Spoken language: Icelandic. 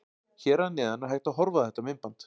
Hér að neðan er hægt að horfa á þetta myndband.